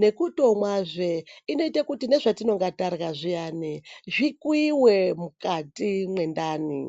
nekutomwanzve inoita kuti nezvatobata zvaunenge tarya zviyani zvikuiwe mukati mendani.